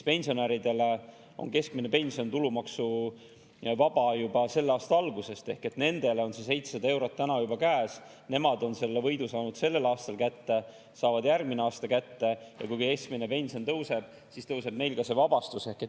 Pensionäridele on keskmine pension tulumaksuvaba juba selle aasta algusest ehk nendel on see 700 eurot täna juba käes, nemad on selle võidu saanud sellel aastal kätte, saavad järgmisel aastal kätte ja kui keskmine pension tõuseb, siis tõuseb neil ka see vabastus.